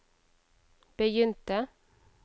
begynte